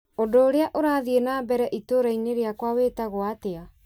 ũndũ urĩa urathiĩ na mbere itũra-inĩ rĩakwa wĩtagwo atĩa ?